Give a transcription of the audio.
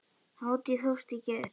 Hátíðin hófst í gær.